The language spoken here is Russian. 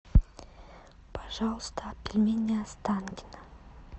пожалуйста пельмени останкино